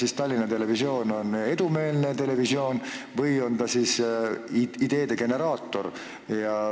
Kas Tallinna Televisioon on edumeelne televisioon või on ta ideede generaator?